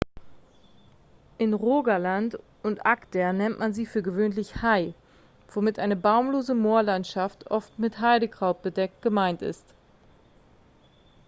in rogaland und agder nennt man sie für gewöhnlich hei womit eine baumlose moorlandschaft oft mit heidekraut bedeckt gemeint ist